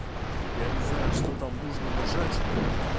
я не знаю что там нужно нажать